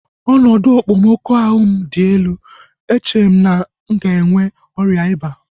Ọnọdụ okpomọkụ ahụ m dị elu. Eche m na m ga-enwe ọrịa ịba